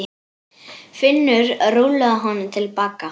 Finnur rúllaði honum til baka.